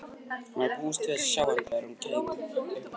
Hún hafði búist við að sjá hann þegar hún kæmi upp á hæðina.